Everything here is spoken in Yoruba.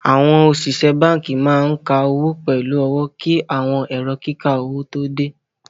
Awọn osìsẹ̀ bánkì máa n kà owó pẹ̀lú ọwọ̀ kí awọn èrò kíkà owó tó dẹ.